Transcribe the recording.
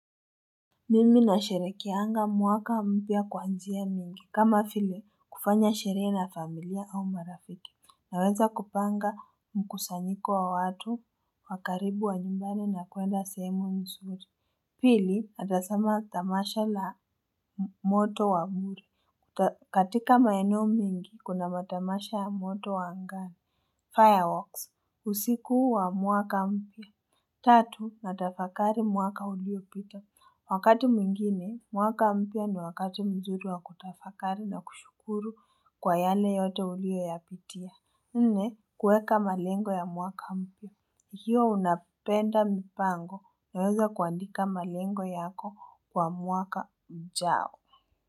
Mimi nasherehekianga mwaka mpya kwa njia mingi kama fille kufanya sherehe na familia au marafiki Naweza kupanga mkusanyiko wa watu wa karibu wa nyumbani na kuenda sehemu nzuri Pili naeza sema tamasha la moto wa bure katika maeneo mingi kuna matamasha ya moto wa angani Fireworks usiku wa mwaka mpya Tatu natafakari mwaka uliopita Wakati mwingine, mwaka mpya ni wakati mzuri wa kutafakari na kushukuru kwa yale yote uliyoyapitia. Nne, kueka malengo ya mwaka mpya. Ukiwa unapenda mipango unaweza kuandika malengo yako kwa mwaka ujao.